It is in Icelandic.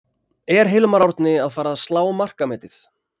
Er Hilmar Árni að fara að slá markametið?